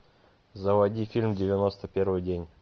заводи фильм девяносто первый день